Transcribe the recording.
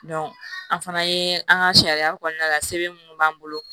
an fana ye an ka sariya kɔnɔna la sɛbɛn munnu b'an bolo